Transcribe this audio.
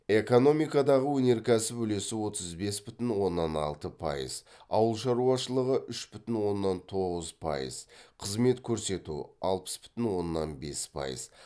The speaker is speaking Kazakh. экономикадағы өнеркәсіп үлесі отыз бес бүтін оннан алты пайыз ауыл шаруашылығы үш бүтін оннан тоғыз пайыз қызмет көрсету алпыс бүтін оннан бес пайыз